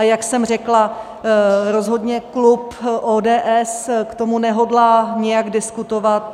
A jak jsem řekla, rozhodně klub ODS k tomu nehodlá nijak diskutovat.